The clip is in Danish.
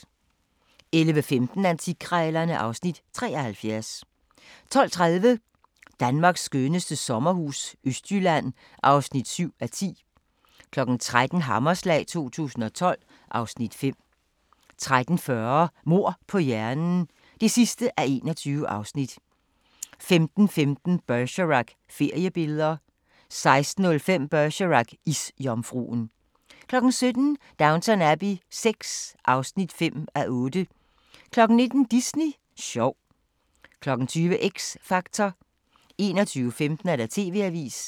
11:15: Antikkrejlerne (Afs. 73) 12:30: Danmarks skønneste sommerhus - Østjylland (7:10) 13:00: Hammerslag 2012 (Afs. 5) 13:40: Mord på hjernen (21:21) 15:15: Bergerac: Feriebilleder 16:05: Bergerac: Isjomfruen 17:00: Downton Abbey VI (5:8) 19:00: Disney sjov 20:00: X Factor 21:15: TV-avisen